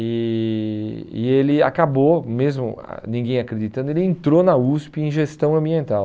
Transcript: E e ele acabou, mesmo ãh ninguém acreditando, ele entrou na USP em gestão ambiental.